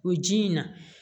O ji in na